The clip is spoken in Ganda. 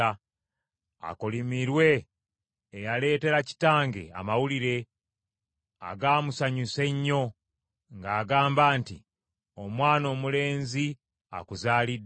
Akolimirwe eyaleetera kitange amawulire, agaamusanyusa ennyo, ng’agamba nti, “Omwana omulenzi akuzaaliddwa.”